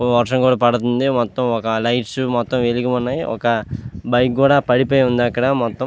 వర్షం కూడా పడుతుంది. మొతం ఒక లైట్స్ మొత్తం వెలిగి ఉన్నాయ్. ఒక మైక్ కూడా పడిపోయి ఉంది. అక్కడ మొత్తం --